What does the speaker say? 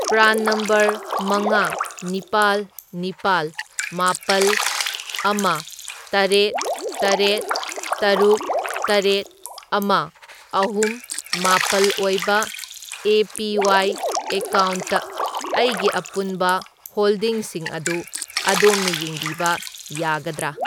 PRAN number ꯃꯉꯥ, ꯅꯤꯄꯥꯜ, ꯅꯤꯄꯥꯜ, ꯃꯥꯄꯜ, ꯑꯃ, ꯇꯔꯦꯠ, ꯇꯔꯦꯠ, ꯇꯔꯨꯛ, ꯇꯔꯦꯠ, ꯑꯃ, ꯑꯍꯨꯝ, ꯃꯥꯄꯜ ꯑꯣꯏꯕ ꯑꯦ.ꯄꯤ.ꯋꯥꯏ. ꯑꯦꯀꯥꯎꯟꯠꯇ ꯑꯩꯒꯤ ꯑꯄꯨꯟꯕ ꯍꯣꯜꯗꯤꯡꯁꯤꯡ ꯑꯗꯨ ꯑꯗꯣꯝꯅ ꯌꯦꯡꯕꯤꯕ ꯌꯥꯒꯗ꯭ꯔꯥ?